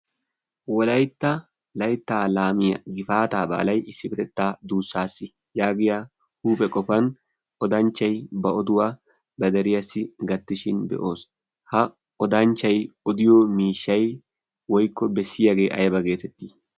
wolaitta layttaa laamiya gifaataabaa lai issi betettaa duussaass yaagiya huuphe qofan odanchchai ba oduwaa ba dariyaassi gattishin be'oos. ha odanchchai odiyo miishshay woikko bessiyaagee ayba geetettii?